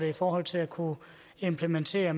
i forhold til at kunne implementere